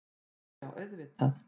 Já, já auðvitað.